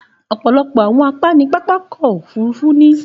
Òpọ̀lọpọ̀ àwọn àpá ní pápá ọkọ̀ òfurufú ní.